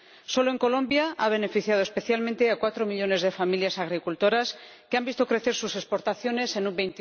Solo en Colombia ha beneficiado especialmente a cuatro millones de familias agricultoras que han visto crecer sus exportaciones en un